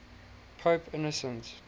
pope innocent